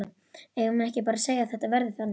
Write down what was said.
Eigum við ekki bara að segja að þetta verði þannig?